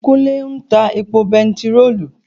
Kúnlé ń ta epo bèntiróòlù